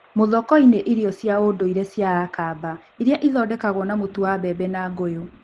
Muthokoi nĩ irio cia ũndũire cia Akamba iria ithondekagwo na mũtu wa mbembe na ngũyũ.